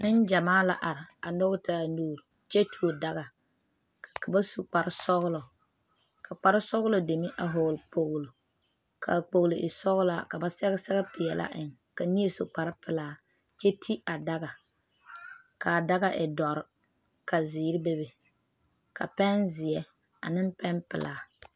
Nengyamaa la are a nyɔge taa nuuri, kyɛ tuo daga ka ba su kpare. sɔglɔ, ka kparre sɔglɔ deme a vɔgeli kpolo ka kpol e sɔglaa ka ba sɛge sɛre pɛɛle a eŋe ka neɛ su kpare pelaa kyɛ ti a daga, kaa daga e doɔre ka zeɛre bebe ka pɛn zeɛ ane pɛn pelaa.